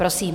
Prosím.